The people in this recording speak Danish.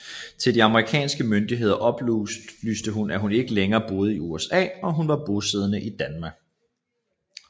Til de amerikanske myndigheder oplyste hun at hun ikke længere boede i USA og at hun var bosiddende i Danmark